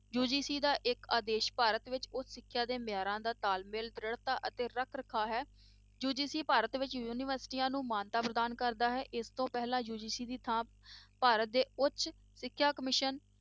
UGC ਦਾ ਇੱਕ ਅਦੇਸ਼ ਭਾਰਤ ਵਿੱਚ ਉੱਚ ਸਿੱਖਿਆ ਦੇ ਮਿਆਰਾਂ ਦਾ ਤਾਲਮੇਲ, ਦ੍ਰਿੜਤਾ ਅਤੇ ਰੱਖ ਰਖਾਵ ਹੈ UGC ਭਾਰਤ ਵਿੱਚ ਯੂਨੀਵਰਸਟੀਆਂ ਨੂੰ ਮਾਨਤਾ ਪ੍ਰਦਾਨ ਕਰਦਾ ਹੈ, ਇਸ ਤੋਂ ਪਹਿਲਾਂ UGC ਦੀ ਥਾਂ ਭਾਰਤ ਦੇ ਉੱਚ ਸਿੱਖਿਆ commission